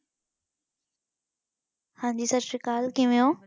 ਹਾਂਜੀ ਸਤਿ ਸ੍ਰੀ ਅਕਾਲ ਕਿਵੇਂ ਓ।